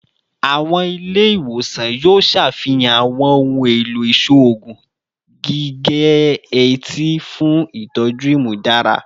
Awọn ile-iwosan yoo ṣafihan awọn ohun elo iṣoogun gige-eti fun itọju imudara